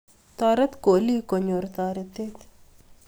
Toret kolik konyor toretet